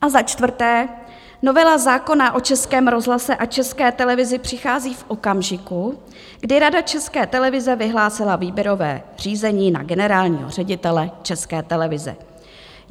A za čtvrté, novela zákona o Českém rozhlase a České televizi přichází v okamžiku, kdy Rada České televize vyhlásila výběrové řízení na generálního ředitele České televize.